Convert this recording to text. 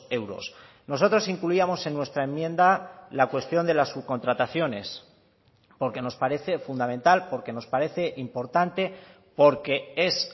euros nosotros incluíamos en nuestra enmienda la cuestión de las subcontrataciones porque nos parece fundamental porque nos parece importante porque es